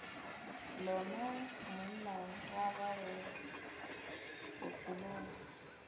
lona monna wa gago bophelong